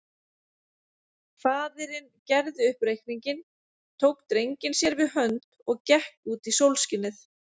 Faðirinn gerði upp reikninginn, tók drenginn sér við hönd og gekk út í sólskinið.